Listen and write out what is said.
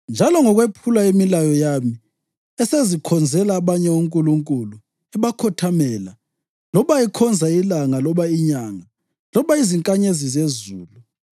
njalo ngokwephula imilayo yami esezikhonzela abanye onkulunkulu, ebakhothamela loba ekhonza ilanga loba inyanga loba izinkanyezi zezulu,